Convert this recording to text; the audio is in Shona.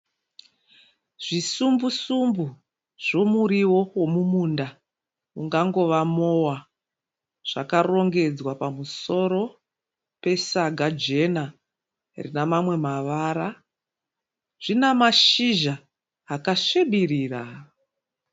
Zvisumbu-sumbu zvemuriwo wemumunda ungangova mowa. Zvakarongedzwa pamusoro pesaga jena rinamamwe mavara. Zvinamashizha akasvibirira.